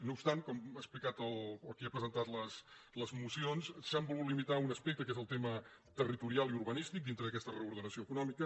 no obstant com ha explicat el qui ha presentat les mocions s’han vol·gut limitar a un aspecte que és el tema territorial i ur·banístic dintre d’aquesta reordenació econòmica